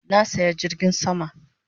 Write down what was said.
Na saya jirgin sama